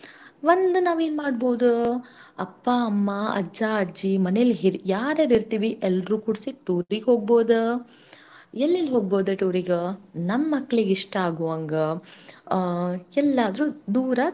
ಒಂದು ನಾವೇನ್ ಮಾಡ್ಬೌದೂ ಅಪ್ಪ ಅಮ್ಮ ಅಜ್ಜ ಅಜ್ಜಿ ಮನೇಲ್ ಹಿರ್~ ಯಾರ್ಯಾರ್ ಇರ್ತೀವಿ ಎಲ್ರೂ ಕೂಡ್ಸಿ tour ಗ್ ಹೋಗ್ಬೌದ. ಎಲ್ಲೆಲ್ ಹೋಗ್ಬೌದು tour ಗ ನಮ್ ಮಕ್ಳಿಗ್ ಇಷ್ಟ ಆಗೂವಂಗ ಆ ಎಲ್ಲಾದ್ರೂ ದೂರ.